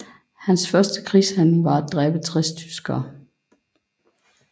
Hans første krigshandling var at dræbe 60 tyskere